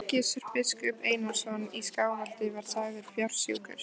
Gizur biskup Einarsson í Skálholti var sagður fársjúkur.